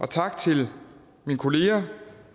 tak til mine kolleger